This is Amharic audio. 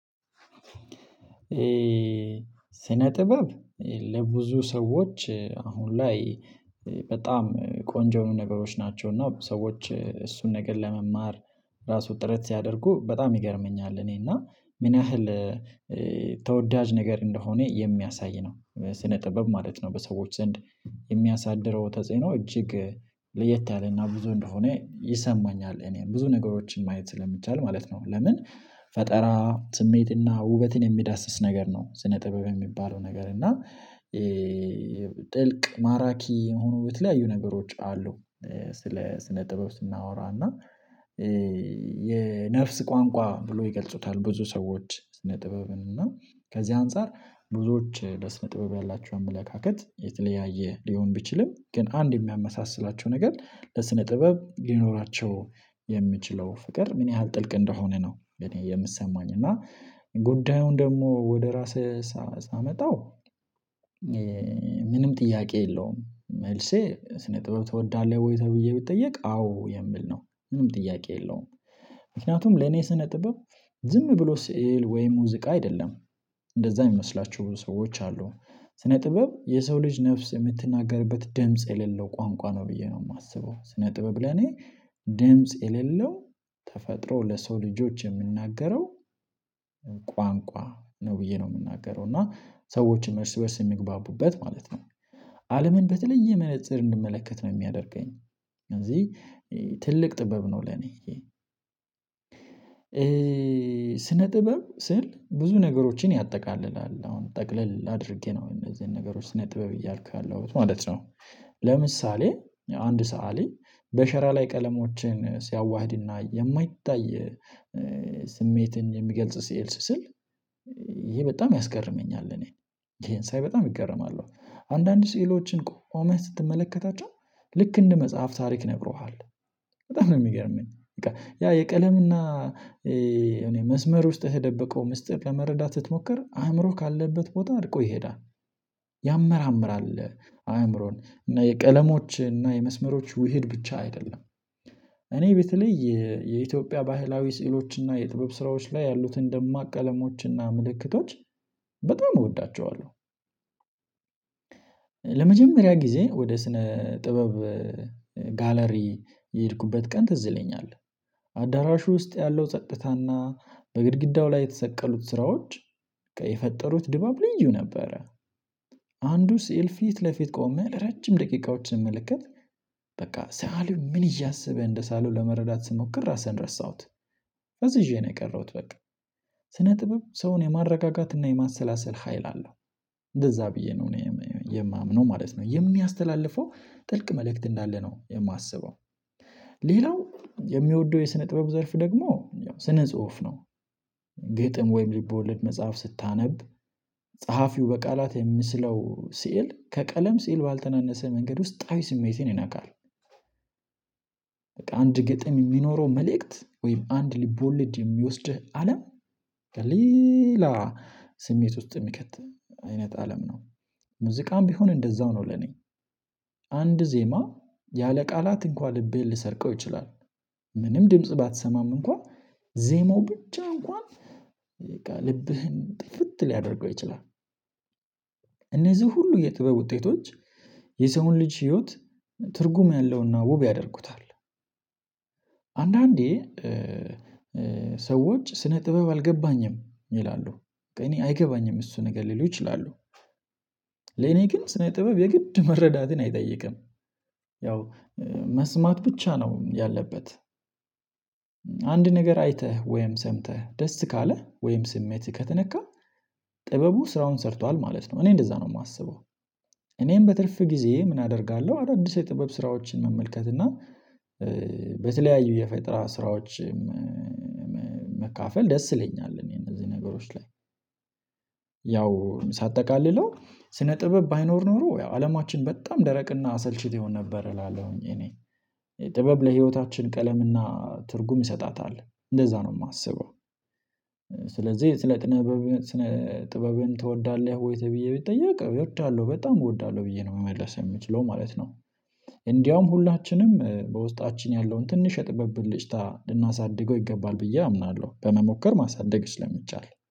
ስነ ጥበብ ለብዙ ሰዎች አሁን ላይ በጣም ቆንጆ የሆኑ ነገሮች ናቸው። እና ሰዎች እሱን ነገር ለመማር ራሱ ጥረት ሲያደርጉ በጣም ይገርመኛል። እኔ እና ምን ያህል ተወዳጅ ነገር እንደሆነ የሚያሳይ ነው። ስነ ጥበብ ማለት ነው በሰዎች ዘንድ የሚያሳድረው ተጽዕኖ እጅግ ለየት ያለና ብዙ እንደሆነ ይሰማኛል። እኔም ብዙ ነገሮችን ማየት ስለሚቻል ማለት ነው። ለምን ፈጠራ ስሜት እና ውበትን የሚዳስስ ነገር ነው። ስነ ጥበብ የሚባለው ነገር እና ጥልቅ ማራኪ የሆኑ የተለያዩ ነገሮች አሉ። ስለ ስነ ጥበብ ስናወራ እና የነፍስ ቋንቋ ብሎ ይገልጹታል። ብዙ ሰዎች ስነ ጥበብን እና ከዚህ አንፃር ብዙዎች ለስነ ጥበብ ያላቸውን አመለካከት የተለያየ ሊሆን ቢችልም ግን አንድ የሚያመሳስላቸው ነገር ለስነ ጥበብ ሊኖራቸው የሚችለው ፍቅር ምን ያህል ጥልቅ እንደሆነ ነው። የኔ የምሰማኝ እና ጉዳዩን ደግሞ ወደ ራስህ ሳመጣው። ምንም ጥያቄ የለውም መልሴ ስነ ጥበብ ትወዳለህ ወይ? ተብዬ ብጠየቅ አዎ የሚል ነው። ምንም ጥያቄ የለውም። ምክንያቱም ለኔ ስነ ጥበብ ዝም ብሎ ስዕል ወይ ሙዚቃ አይደለም። እንደዛ የሚመስላቸው ብዙ ሰዎች አሉ ስነ ጥበብ የሰው ልጅ ነፍስ የምትናገርበት ድምጽ የሌለው ቋንቋ ነው ብዬ ነው የማስበው። ስነ ጥበብ ለኔ። ድምጽ የሌለው ተፈጥሮ ለሰው ልጆች የምትናገረው ቋንቋ ነው። ብዬ ነው የምናገረው እና ሰዎችም እርስ በእርስ የሚግባቡበት ማለት ነው። አለምን በተለየ መነፀር እንድመለከት ነው የሚያደርገኝ። እዚህ ትልቅ ጥበብ ነው ለኔ። ስነ ጥበብ ስል ብዙ ነገሮችን ያጠቃልላል አሁን ጠቅለል አድርጌ ነው እነዚህን ነገሮች ስነ ጥበብ እያልኩ ያለሁት ማለት ነው። ለምሳሌ አንድ ሰአሊ በሸራ ላይ ቀለሞችን ሲያዋህድና የማይታይ ስሜትን የሚገልጽ ስልል ስሥል ይሄ በጣም ያስገርመኛል። እኔ ይሄን ሳይ በጣም እገረማለው አንዳንድ ስዕሎችን ቆመህ ስትመለከታቸው ልክ እንደ መጽሐፍ ታሪክ ይነግሩሃል። በጣም ነው የሚገርመኝ። ያ የቀለምና እኔ መስመር ውስጥ ውስጥ የተደበቀው ምስጢር ለመረዳት ስትሞክር አእምሮህ ካለበት ቦታ ርቆ ይሄዳል። ያመራምራል አእምሮን እና የቀለሞች እና የመስመሮች ውህድ ብቻ አይደለም። እኔ በተለይ የኢትዮጵያ ባህላዊ ስዕሎች እና የጥበብ ስራዎች ላይ ያሉትን ደማቅ ቀለሞች እና ምልክቶች በጣም እወዳቸዋለሁ። ለመጀመሪያ ጊዜ ወደ ስነ ጥበብ ጋለሪ የሄድኩበት ቀን ትዝ ይለኛል። አዳራሹ ውስጥ ያለው ጸጥታና በግድግዳው ላይ የተሰቀሉት ስራዎች የፈጠሩት ድባብ ልዩ ነበረ። ሲሄድ ፊት ለፊት ቆመ ረጅም ደቂቃዎችን ሲመለከት በቃ ስአሊው ምን እያሰበ እንደሳለው ለመረዳት ስሞክር ራሴንን ረሳሁት። ፈዝዤ ነው የቀረሁት። በቃ ስነ ጥበብ ሰውን የማረጋጋት እና የማሰላሰል ሀይል አለው። እንደዛ ብዬ ነው የማምነው ማለት ነው የሚያስተላለፈው ጥልቅ መልእክት እንዳለ ነው የማስበው። ሌላው የምወደው የስነ ጥበብ ዘርፍ ደግሞ ስነ ጽሁፍ ነው። ግጥም ወይም ልቦለድ መጽሐፍ ስታነብ ጸሐፊው በቃላት የሚስለው ስዕል ከቀለም ስዕል ባልተናነሰ መንገድ ውስጣዊ ስሜትን ይነካል። በቃ አንድ ግጥም የሚኖረው መልእክት ወይም አንድ ልቦለድ የሚወስድህ አለም ከሌላ ስሜት ውስጥ የሚከት አይነት አለም ነው። ሙዚቃም ቢሆን እንደዛው ነው ለኔ። አንድ ዜማ ያለ ቃላት እንኳን ልቤን ሊሰርቀው ይችላል። ምንም ድምጽ ባትሰማም እንኳን ዜማው ብቻ እንኳን በቃ ልብህን ጥፍት ሊያደርገው ይችላል። እነዚህ ሁሉ የጥበብ ውጤቶች የሰውን ልጅ ህይወት ትርጉም ያለውና ውብ ያደርጉታል። አንዳንዴ ሰዎች ስነ ጥበብ አልገባኝም ይላሉ እኔ አይገባኝም እሱ ነገር ሊሉ ይችላሉ። ለኔ ግን ስነ ጥበብ የግድ መረዳትን አይጠይቅም። ያው መስማት ብቻ ነው ያለበት። አንድ ነገር አይተህ ወይም ሰምተህ ደስ ካለህ ወይም ስሜትህ ከተነካ ጥበቡ ስራውን ሰርቷል ማለት ነው። እኔ እንደዛ ነው የማስበው። እኔም በትርፍ ጊዜ ምን አደርጋለሁ አይደል? አዲስ የጥበብ ስራዎችን መመልከት እና በተለያዩ የፈጠራ ስራዎች መካፈል ደስ ይለኛል። እኔ እነዚህ ነገሮች ላይ ያው ሳጠቃልለው ስነ ጥበብ ባይኖር ኖሮ ያው አለማችን በጣም ደረቅና አሰልቺ ይሆን ነበር እላለሁኝ እኔ ጥበብ ለህይወታችን ቀለምና ትርጉም ይሰጣታል እንደዛ ነው የማስበው። ስለዚህ ስለ ጥበብ ስለ ጥበብን ትወዳለህ ወይ? ብዬ ብጠየቅ እወዳለሁ በጣም እወዳለሁ ብዬ ነው መመለስ የምችለው ማለት ነው። እንደውም ሁላችንም በውስጣችን ያለውን ትንሽ የጥበብ ብልጭታ ልናሳድገው ይገባል ብዬ አምናለሁ በመሞከር ማሳደግ ስለሚቻል።